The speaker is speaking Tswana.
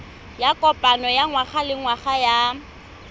ya kopano ya ngwagalengwaga ya